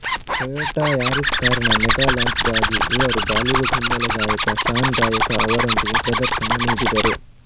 Toyota Yaris ಕಾರಿನ mega ಲಾಂಚ್ಗಾಗಿ ಇವರು ಬಾಲಿವುಡ್ ಹಿನ್ನೆಲೆ ಗಾಯಕ ಶಾನ್ ಗಾಯಕ ಅವರೊಂದಿಗೆ ಪ್ರದರ್ಶನ ನೀಡಿದರು